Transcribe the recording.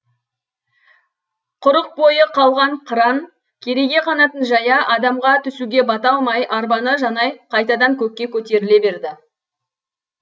құрық бойы қалған қыран кереге қанатын жая адамға түсуге бата алмай арбаны жанай қайтадан көкке көтеріле берді